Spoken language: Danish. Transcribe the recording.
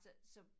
Så så